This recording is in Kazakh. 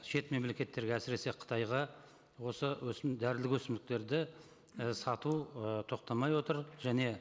шет мемлекеттерге әсіресе қытайға осы дәрілік өсімдіктерді і сату ы тоқтамай отыр және